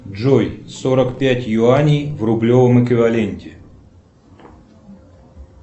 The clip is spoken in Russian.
джой сорок пять юаней в рублевом эквиваленте